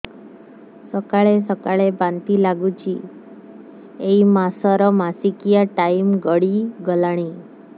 ସକାଳେ ସକାଳେ ବାନ୍ତି ଲାଗୁଚି ଏଇ ମାସ ର ମାସିକିଆ ଟାଇମ ଗଡ଼ି ଗଲାଣି